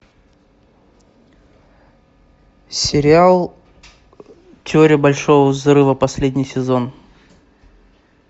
сериал теория большого взрыва последний сезон